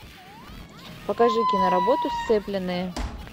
покажи киноработу сцепленные